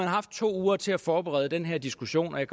haft to uger til at forberede den her diskussion og jeg